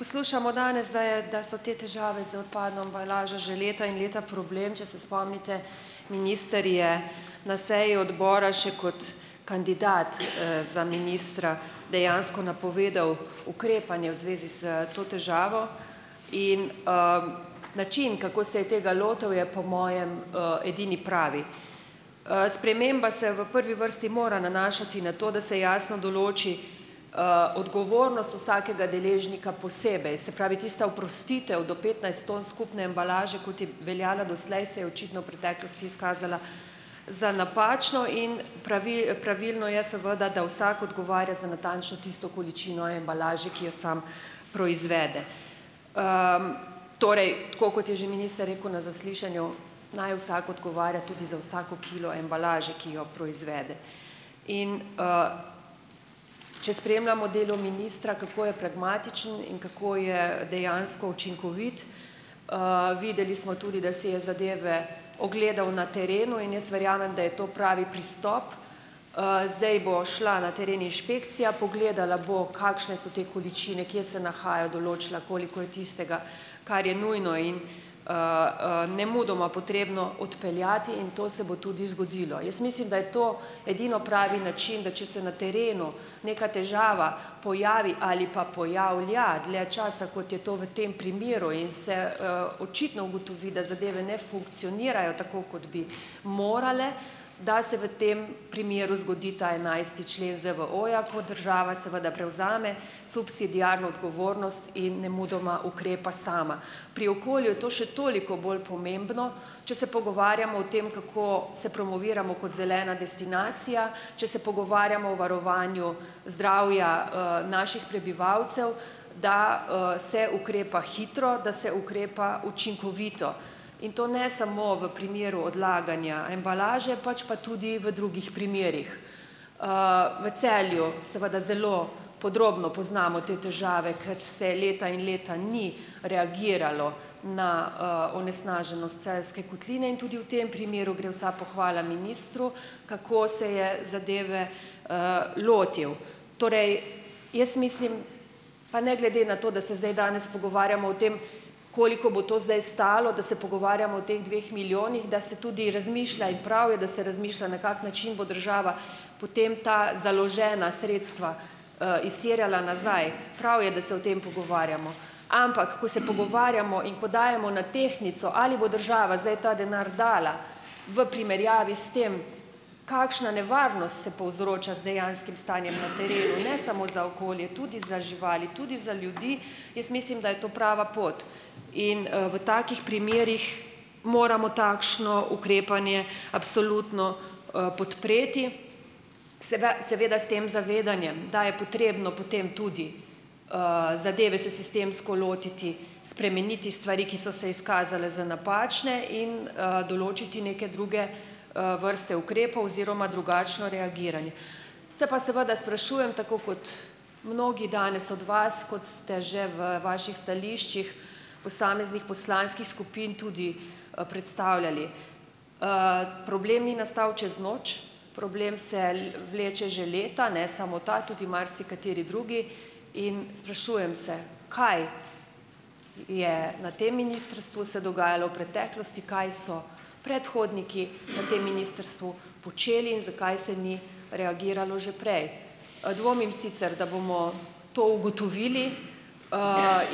Poslušamo danes, da je, da so te težave z odpadno embalažo že leta in leta problem. Če se spomnite, minister je na seji odbora še kot kandidat, za ministra dejansko napovedal ukrepanje v zvezi s to težavo. In, način, kako se je tega lotil je, po mojem, edini pravi. Sprememba se v prvi vrsti mora nanašati na to, da se jasno določi, odgovornost vsakega deležnika posebej. Se pravi, tista oprostitev do petnajst ton skupne embalaže, kot je veljala doslej, se je očitno v preteklosti izkazala za napačno. In Pravilno je, seveda, da vsak odgovarja za natančno tisto količino embalaže, ki jo sam proizvede. Torej, tako kot je že minister rekel na zaslišanju, naj vsak odgovarja tudi za vsako kilo embalaže, ki jo proizvede. In, Če spremljamo delo ministra, kako je pragmatičen in kako je dejansko učinkovit, videli smo tudi, da si je zadeve ogledal na terenu. In jaz verjamem, da je to pravi pristop. Zdaj bo šla na teren inšpekcija, pogledala bo kakšne so te količine, kje se nahajajo, določila, koliko je tistega, kar je nujno in, nemudoma potrebno odpeljati. In to se bo tudi zgodilo. Jaz mislim, da je to edino pravi način , da če se na terenu neka težava pojavi ali pa pojavlja dlje časa, kot je to v tem primeru, in se, očitno ugotovi, da zadeve ne funkcionirajo tako, kot bi morale, da se v tem primeru zgodi ta enajsti člen ZVO-ja, ko država seveda prevzame subsidiarno odgovornost in nemudoma ukrepa sama. Pri okolju je to še toliko bolj pomembno, če se pogovarjamo o tem, kako se promoviramo kot zelena destinacija, če se pogovarjamo o varovanju zdravja, naših prebivalcev, da, se ukrepa hitro, da se ukrepa učinkovito. In to ne samo v primeru odlaganja embalaže, pač pa tudi v drugih primerih. V Celju, seveda, zelo podrobno poznamo te težave, ker se leta in leta ni reagiralo na, onesnaženost Celjske kotline in tudi v tem primeru gre vsa pohvala ministru, kako se je zadeve, lotil. Torej. Jaz mislim, pa ne glede na to, da se zdaj danes pogovarjamo o tem, koliko bo to zdaj stalo, da se pogovarjamo o teh dveh milijonih, da se tudi razmišlja in prav je, da se razmišlja, na kak način bo država potem ta založena sredstva, izterjala nazaj . Prav je, da se o tem pogovarjamo. Ampak ko se pogovarjamo in ko dajemo na tehtnico, ali bo država zdaj ta denar dala, v primerjavi s tem kakšna nevarnost se povzroča z dejanskim stanjem na terenu, ne samo za okolje, tudi za živali, tudi za ljudi , jaz mislim, da je to prava pot. In, v takih primerih moramo takšno ukrepanje absolutno, podpreti. seveda s tem zavedanjem, da je potrebno potem tudi, zadeve se sistemsko lotiti, spremeniti stvari, ki so se izkazale za napačne in, določiti neke druge, vrste ukrepov oziroma drugačno reagiranje. Se pa seveda sprašujem, tako kot mnogi danes od vas, kot ste že v vaših stališčih posameznih poslanskih skupin tudi, predstavljali. Problem ni nastal čez noč, problem se vleče že leta, ne samo ta, tudi marsikateri drugi, in sprašujem se, kaj je na tem ministrstvu se dogajalo v preteklosti, kaj so predhodniki na tem ministrstvu počeli in zakaj se ni reagiralo že prej. Dvomim sicer, da bomo to ugotovili,